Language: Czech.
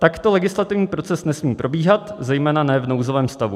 Takto legislativní proces nesmí probíhat, zejména ne v nouzovém stavu.